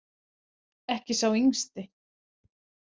Ekki sá yngsti.